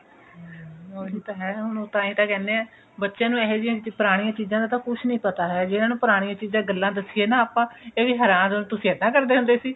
ਉਹੀ ਤਾਂ ਹੈ ਹੁਣ ਉਹ ਤਾਹੀ ਤਾਂ ਕਹਿੰਦੇ ਹੈ ਬੱਚਿਆਂ ਨੂੰ ਹੁਣ ਇਹੋ ਜਿਹੀ ਪੁਰਾਣੀ ਚੀਜਾਂ ਦਾ ਕੁੱਛ ਵੀ ਨਹੀਂ ਪਤਾ ਹੈਗਾ ਜੇ ਇਹਨਾਂ ਨੂੰ ਪੁਰਾਣਿਆ ਚੀਜਾਂ ਗੱਲਾ ਦੱਸੀਏ ਨਾ ਆਪਾਂ ਇਹ ਵੀ ਹੈਰਾਨ ਹੋ ਤੁਸੀਂ ਏਦਾਂ ਕਰਦੇ ਹੁੰਦੇ ਸੀ